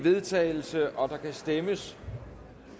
vedtagelse og der kan stemmes